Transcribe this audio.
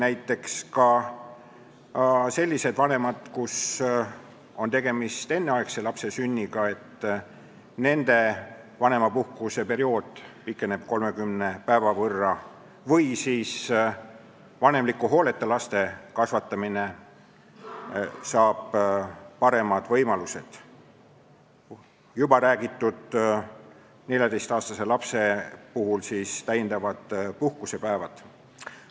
Näiteks, sellistel vanematel, kelle laps on sündinud enneaegselt, pikeneb vanemapuhkuse periood 30 päeva võrra, vanemliku hooleta laste kasvatamiseks tekivad paremad võimalused ning alla 14-aastase lapse puhul tekivad täiendavad puhkusepäevad, millest on siin juba räägitud.